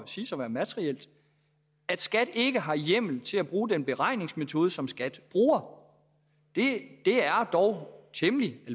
siges at være materielt at skat ikke har hjemmel til at bruge den beregningsmetode som skat bruger det er dog temmelig